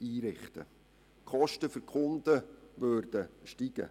Die Kosten für die Kunden würden steigen.